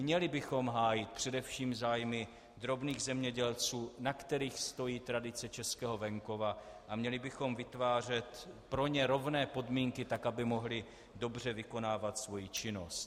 Měli bychom hájit především zájmy drobných zemědělců, na kterých stojí tradice českého venkova, a měli bychom vytvářet pro ně rovné podmínky tak, aby mohli dobře vykonávat svoji činnost.